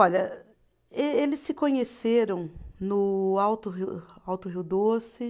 Olha, ê eles se conheceram no Alto ri, Alto Rio Doce.